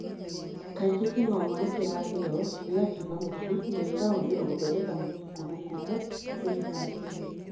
Kaingĩ kĩng'oong'o nĩ kĩragio gĩgatuĩka mũtu na gĩkahũthĩrũo gũthondeka mũtu kũndũ kũũmũ bũrũri-inĩ wa Kenya.